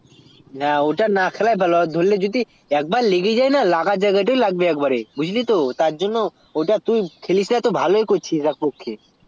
হ্যা ওটা না খেলায় ভালো একবার যদি লেগে যাই না লাগা জায়গাটায় লাগবে বুজলি তো তার জন্য ওটা তুই খেলিস না তা তুই ভালোই কর করিস